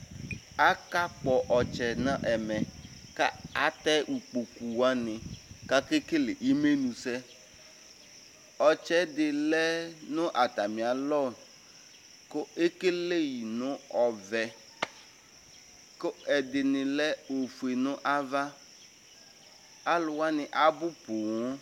Akakpɔ ɔtsɛ nɛmɛ katɛ ikpoku wani kakekele imenu sɛ ɔtsɛ di lɛ nu atamialɔ ku ekele yi nu ɔvɛ ku ɛdini lɛ ofue nava aluwani abu poo